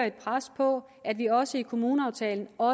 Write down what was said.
et pres på at vi også i kommuneaftalen og